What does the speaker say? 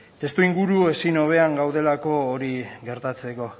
testuinguru ezin hobean gaudelako hori gertatzeko